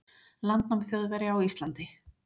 landnám Þjóðverja á Íslandi.